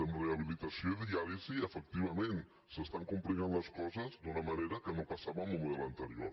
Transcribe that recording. en rehabilitació i diàlisi efectivament s’estan complicant les coses d’una manera que no passava amb el model anterior